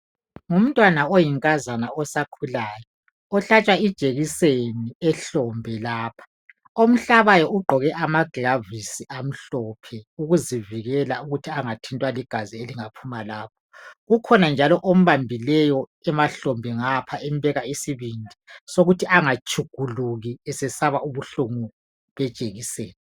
Ngumntwana oyinkazana osakhulayo ohlatshwa ijekiseni ehlombe lapha. Omhlabayo ugqoke amaglavisi amhlophe ukuzivikela ukuthi angathintwa ligazi elingaphuma lapho. Kukhona njalo ombambileyo emahlombe ngapha embeka isibindi sokuthi angatshukuluki esesaba ubuhlungu bejekiseni.